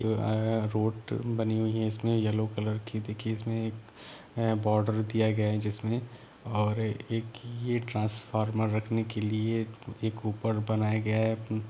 आ-रोड बनी हुई है इसमें येल्लो कलर की दिखी इसमें एक बॉर्डर दिया गया है जिसमे और ये एक ट्रांसफार्मर रखने के लिए एक ऊपर बनाया गया है।